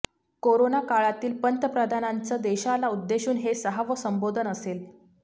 corona काळातील पंतप्रधानांचं देशाला उद्देशून हे सहावं संबोधन असेल